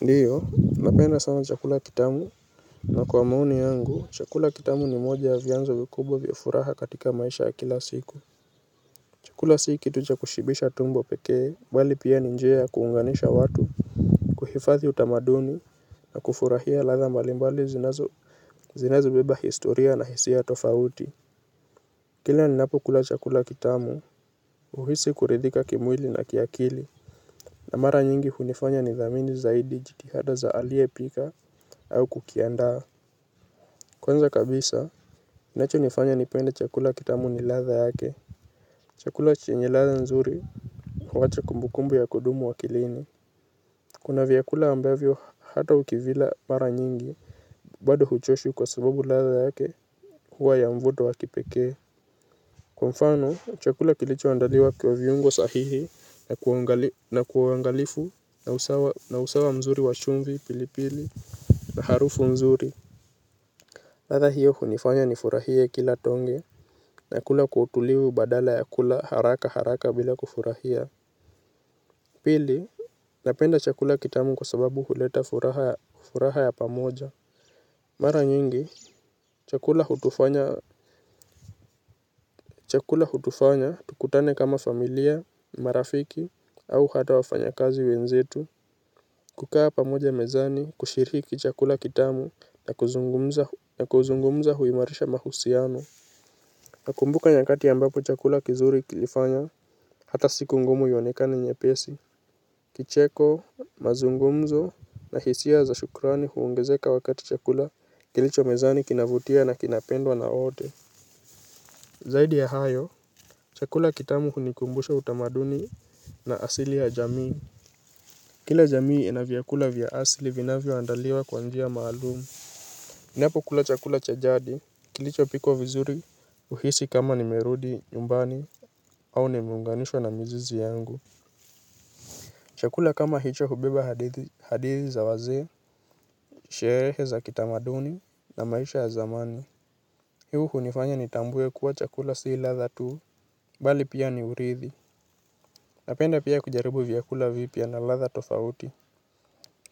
Ndiyo, napenda sana chakula kitamu. Na kwa maoni yangu, chakula kitamu ni moja ya vyanzo vikubwa vya furaha katika maisha ya kila siku. Chakula si kitu cha kushibisha tumbo pekee, bali pia ni njia ya kuunganisha watu, kuhifadhi utamaduni, na kufurahia ladha mbalimbali zinazo zinazobeba historia na hisia tofauti. Kila ninapokula chakula kitamu, huhisi kuridhika kimwili na kiakili. Na mara nyingi hunifanya nithamini zaidi jitihada za aliyepika au kukiandaa. Kwanza kabisa, inachonifanya nipende chakula kitamu ni ladha yake. Chakula chenye ladha nzuri, huacha kumbukumbu ya kudumu akilini. Kuna vyakula ambavyo hata ukivila mara nyingi bado huchoshwi kwa sabubu ladha yake, huwa ya mvuto wa kipekee. Kwa mfano, chakula kilichoandaliwa kwa viungo sahihi na kwa uangalifu, na usawa mzuri wa chumvi, pilipili, na harufu mzuri. Ladha hiyo hunifanya nifurahie kila tonge. Nakula kwa utulivu badala ya kula haraka haraka bila kufurahia. Pili, napenda chakula kitamu kwa sababu huleta furaha ya pamoja. Mara nyingi, chakula hutufanya hutufanya tukutane kama familia, marafiki au hata wafanyakazi wenzetu. Kukaa pamoja mezani, kushiriki chakula kitamu na kuzungumza huimarisha mahusiano. Nakumbuka nyakati ambapo chakula kizuri kilifanya hata siku ngumu ionekane nyepesi. Kicheko mazungumzo na hisia za shukrani huongezeka wakati chakula kilicho mezani kinavutia na kinapendwa na wote. Zaidi ya hayo, chakula kitamu hunikumbusha utamaduni na asili ya jamii. Kila jamii ina vyakula vya asili vinavyoandaliwa kwa njia maalumu. Ninapokula chakula cha jadi, kilichopikwa vizuri huhisi kama nimerudi, nyumbani, au nimeunganishwa na mizizi yangu. Chakula kama hicho hubeba hadithi za wazee, sherehe za kitamaduni na maisha ya zamani. Hii hunifanya nitambue kuwa chakula si ladha tu, bali pia ni urithi. Napenda pia kujaribu vyakula vipya na ladha tofauti.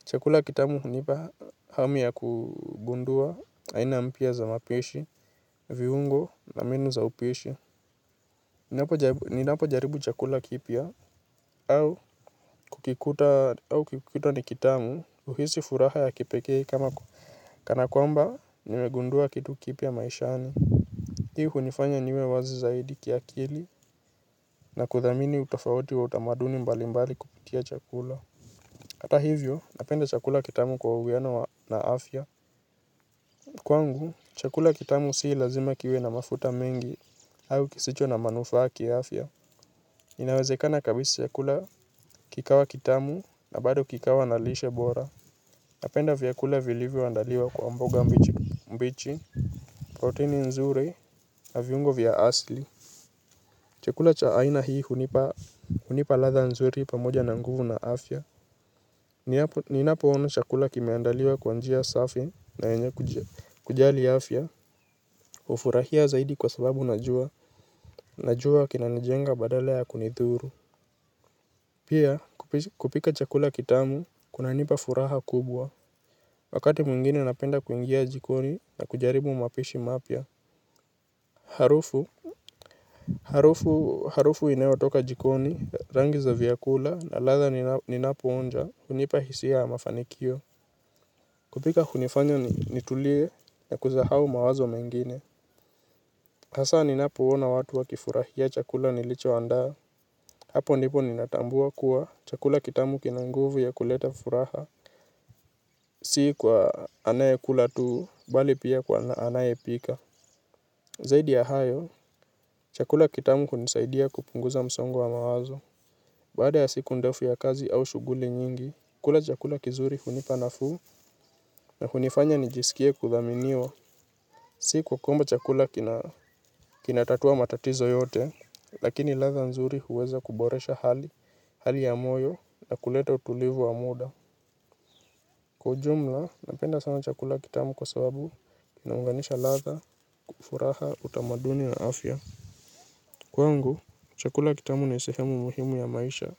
Chakula kitamu hunipa hamu ya kugundua aina mpya za mapishi, viungo na mbinu za upishi. Ninapojaribu chakula kipya au kukikuta ni kitamu huhisi furaha ya kipekee kama kana kwamba nimegundua kitu kipya maishani. Hii hunifanya niwe wazi zaidi kiakili na kuthamini utofauti wa utamaduni mbali mbali kupitia chakula. Hata hivyo napenda chakula kitamu kwa uwiano na afya. Kwangu, chakula kitamu sii lazima kiwe na mafuta mengi au kisicho na manufaa kiafya. Inawezekana kabisa chakula kikawa kitamu na bado kikawa na lishe bora. Napenda viakula vilivyoandaliwa kwa mboga mbichi, proteini nzuri na viungo vya asli. Chakula cha aina hii hunipa ladha nzuri pamoja na nguvu na afya. Ninapoona chakula kimeandaliwa kwa njia safi na yenye kujali afya. Hurahia zaidi kwa sababu najua najua kinanijenga badala ya kunidhuru. Pia kupika chakula kitamu kunanipa furaha kubwa. Wakati mwingine napenda kuingia jikoni na kujaribu mapishi mapya. Harufu harufu inayotoka jikoni rangi za vyakula na ladha ninapoonja. Hunipa hisia ya mafanikio. Kupika hunifanya nitulie na kuzahau mawazo mengine. Hasa ninapoona watu wakifurahia chakula nilichoandaa. Hapo ndipo ninatambua kuwa chakula kitamu kina nguvu ya kuleta furaha, si kwa anayekula tu, bali pia kwa anayepika. Zaidi ya hayo, chakula kitamu hunisaidia kupunguza msongo wa mawazo. Baada ya siku ndefu ya kazi au shughuli nyingi, kula chakula kizuri hunipa nafuu na hunifanya nijisikie kuthaminiwa. Siku kukumba chakula kinatatua matatizo yote, lakini ladha nzuri huweza kuboresha hali, hali ya moyo na kuleta utulivu wa muda. Kwa ujumla, napenda sana chakula kitamu kwa sababu kinaunganisha ladha, furaha, utamaduni na afya. Kwangu, chakula kitamu ni sehemu muhimu ya maisha.